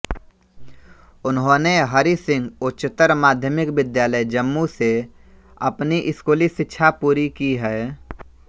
उन्होंने हरि सिंह उच्चतर माध्यमिक विद्यालय जम्मू से अपनी स्कूली शिक्षा पूरी की है